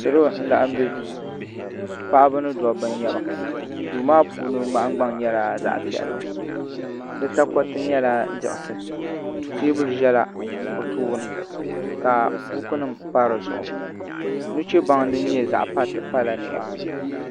Salo n laɣam bɛ duu paɣaba ni dabba n nyɛba duu maa puuni nahangbaŋ nyɛla zaɣ piɛlli di takoriti nyɛla diɣisi teebuli ʒɛla bi tooni ka buku nim pa di zuɣu nuchɛ baŋ din nyɛ zaɣ pati pala nimaa ni